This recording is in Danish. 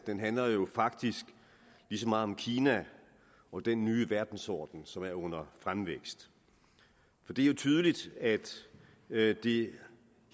den handler jo faktisk lige så meget om kina og den nye verdensorden som er under fremvækst for det er jo tydeligt at det